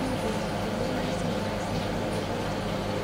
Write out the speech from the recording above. Niĩ ndĩ na ndũmĩrĩri cigana ciaa i-mīrū njerũ?